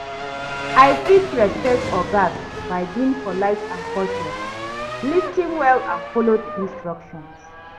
I fit respect ogas by being polite and courteous, lis ten well and follow di instructions.